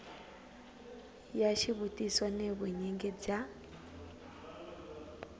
ya xivutiso ni vunyingi bya